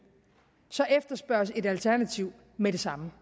så efterspørges et alternativ med det samme